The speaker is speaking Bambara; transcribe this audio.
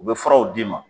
U bɛ furaw d'i ma